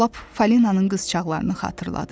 Lap Falinanın qızcağlarını xatırladır.